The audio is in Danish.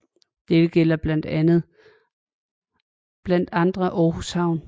Dette gælder blandt andre Aarhus havn